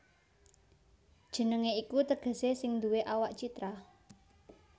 Jenengé iku tegesé sing nduwé awak citra